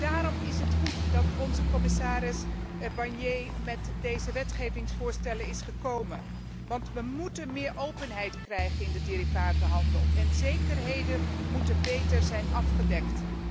Daarom is het goed dat onze commissaris Barnier met deze wetgevingsvoorstellen is gekomen, want we moeten meer openheid krijgen in de derivatenhandel en zekerheden moeten beter zijn afgedekt.